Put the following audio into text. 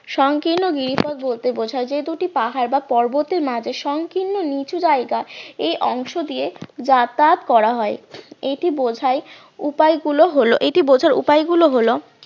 সংকীর্ণ গিরিপথ বলতে বোঝায় যে দুটি পাহাড় বা পর্বতের মাঝে সংকীর্ণ নিচু জায়গা এই অংশ দিয়ে যাতায়াত করা হয় এটি বোঝায় উপায় গুলো হলো এটি বোঝার উপায় গুলো হলো